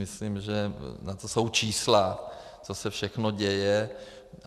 Myslím, že na to jsou čísla, co se všechno děje.